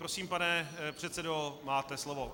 Prosím, pane předsedo, máte slovo.